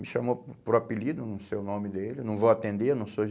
Me chamou por por apelido, não sei o nome dele, não vou atender, não sou gê